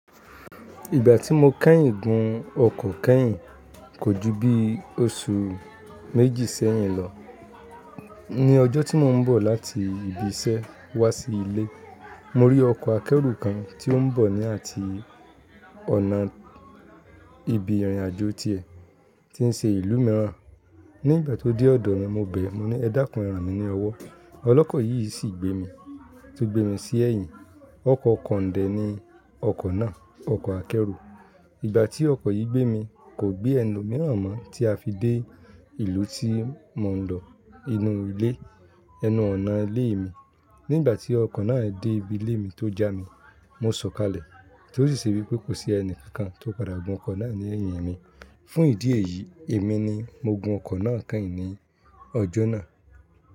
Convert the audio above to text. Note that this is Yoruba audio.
Ìgbà tí mo kẹ́yìn gun ọkọ̀ kẹ́yìn, kò ju bí oṣù méjì sẹ́yìn lọ. Ni ọjọ́ tí mò ń bọ̀ láti ibi iṣẹ́ wá sí ilé, mo rí ọkọ̀ akẹ́rù kan tí ó ń bọ̀ ní àti ọ̀nà ibi ìrìnàjò tiẹ̀, tí ń ṣe ìlú mìíràn. Ní ìgbà tí ó dé ọ̀dọ̀ mi, mo bẹ̀ ẹ́, mo ní ẹ dákun ẹ́ran mi ní ọ̀wọ́. Ọlọ́kọ̀ yìí sì gbé mi, tó gbé mi sí ẹ̀yìn. Ọkọ̀ kọ̀ńdẹ́ ni ọkọ̀ náà, ọkọ̀ akẹ́rù. Ìgbà tí ọkọ̀ yìí gbé mi, kò gbé ẹni mìíràn mọ́ tí a fi dé ìlú tí mò ń lọ, inú ilé, ẹnu ọ̀nà ilé mi. Ní ìgbà tí ọkọ̀ náà dé ibi ilé mi tó já mi, mo sọ̀kalẹ̀, kí ó sì ṣe wí pé kò sí ẹni kankan tó padà gun ọkọ̀ náà ní ẹ̀yìn mi. Fún ìdí èyí, èmi ni mo gun ọkọ̀ náà kẹ́yìn ní ọjọ́ náà.